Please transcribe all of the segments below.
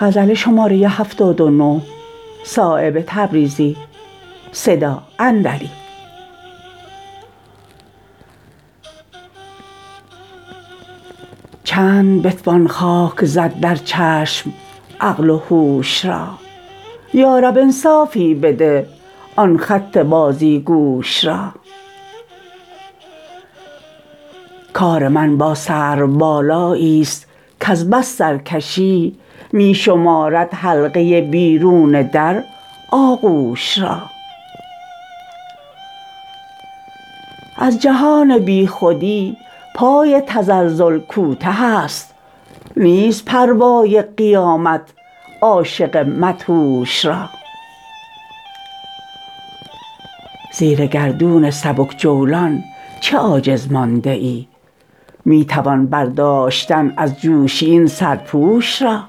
چند بتوان خاک زد در چشم عقل و هوش را یا رب انصافی بده آن خط بازیگوش را کار من با سرو بالایی است کز بس سرکشی می شمارد حلقه بیرون در آغوش را از جهان بی خودی پای تزلزل کوته است نیست پروای قیامت عاشق مدهوش را زیر گردون سبک جولان چه عاجز مانده ای می توان برداشتن از جوشی این سرپوش را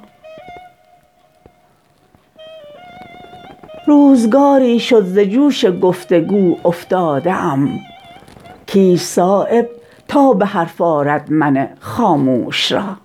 روزگاری شد ز جوش گفتگو افتاده ام کیست صایب تا به حرف آرد من خاموش را